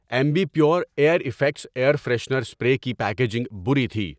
Ambi Pur air effects air freshener spray کی packaging بری تھی۔